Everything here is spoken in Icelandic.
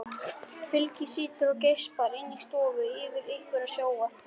Bylgja situr og geispar inni í stofu yfir einhverju sjónvarpi.